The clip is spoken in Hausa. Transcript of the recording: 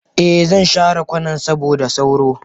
Eh zan share kwanan saboda sauro.